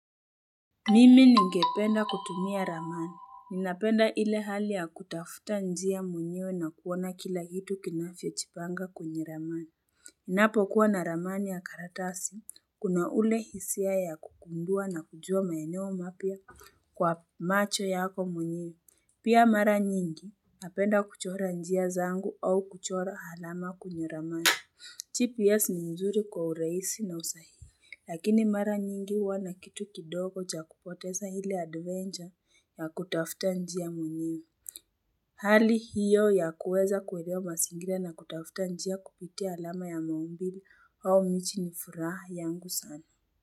Mimi ni ningependa kutumia ramani. Ninapenda ile hali ya kutafuta njia mwenyewe na kuona kila hitu kinavyojipanga kwenye ramani. Ninapo kuwa na ramani ya karatasi. Kuna ule hisia ya kugundua na kujua maeneo mapya kwa macho yako mwenyewe. Pia mara nyingi. Napenda kuchora njia zangu au kuchora alama kwenye ramani. TPS ni nzuri kwa urahisi na usahihi. Lakini mara nyingi huwa na kitu kidogo cha kupoteza ile adventure ya kutafuta njia mwenyewe Hali hiyo ya kuweza kuelewa mazingira na kutafuta njia kupitia alama ya maumbile wa nchi ni furaha yangu sana.